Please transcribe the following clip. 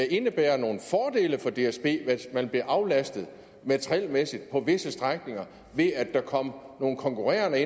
indebære nogle fordele for dsb hvis man blev aflastet materielmæssigt på visse strækninger ved at der kom nogle konkurrerende